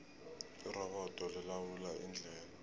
irobodo lilawula indlela